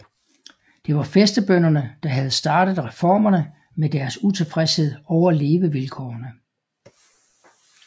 Det var fæstebønderne der havde startet reformerne med deres utilfredshed over levevilkårene